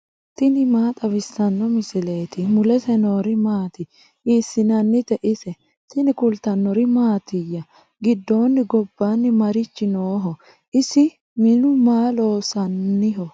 tini maa xawissanno misileeti ? mulese noori maati ? hiissinannite ise ? tini kultannori mattiya? gidoonni gobba marichi nooho? isi minnu maa loosanniho?